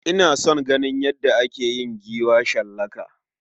Ina son ganin yadda ake yin giwa shallaka.